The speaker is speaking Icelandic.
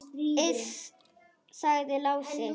Iss, sagði Lási.